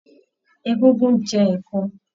Egúngún ń jẹ ẹ̀ko